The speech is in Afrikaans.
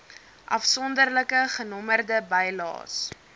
afsonderlike genommerde bylaes